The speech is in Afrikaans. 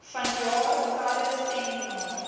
vanjaar talle seminare